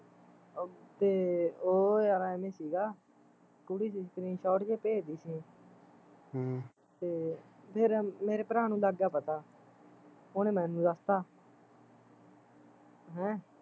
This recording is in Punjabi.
ਤੇ ਉਹ ਯਾਰ ਅਵੇ ਸੀਗਾ ਕੁੜੀ screenshot ਜਹੇ ਭੇਜਦੀ ਸੀ ਹਮ ਤੇ ਮੇਰੇ ਭਰਾ ਨੂੰ ਲੱਗ ਗਿਆ ਪਤਾ ਉਹਨੇ ਮੈਨੂੰ ਦੱਸਤਾ ਹੈਂ